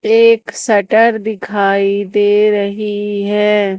एक शटर दिखाई दे रही है।